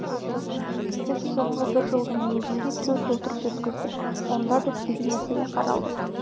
біз соңғы бір жылдың өзінде төрт отырыс өткіздік онда да сегіз мәселе қаралды